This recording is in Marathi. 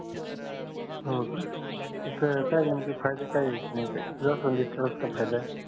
हो का हो सर त्याच काय नेमक फायदे का येत नाही ते जास्वंदी कस काय फायदा आहे